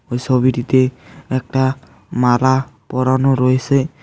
ওই সোবিটিতে একটা মালা পরানো রয়েসে।